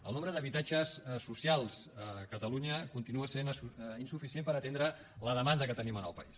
el nombre d’habitatges socials a catalunya continua sent insuficient per atendre la demanda que tenim en el país